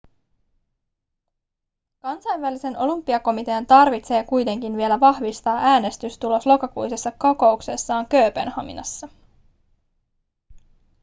kansainvälisen olympiakomitean tarvitsee kuitenkin vielä vahvistaa äänestystulos lokakuisessa kokouksessaan kööpenhaminassa